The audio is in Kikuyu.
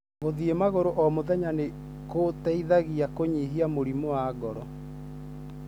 Gũthĩĩ magũru o mũthenya nĩ gũteithagia kũnyihia mĩrimũ ya ngoro.